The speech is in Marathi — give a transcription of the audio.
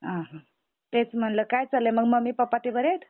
ह हं तेच म्हणल काय चालले मम्मी, पप्पा ते बरेत?